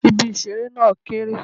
Ibi ìṣeré náà kéré.